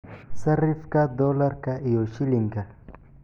sarifka dollarka iyo shilinka